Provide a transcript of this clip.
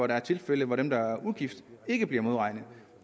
der er tilfælde hvor dem der er ugift ikke bliver modregnet